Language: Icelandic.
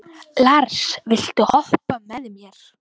Lars, viltu hoppa með mér?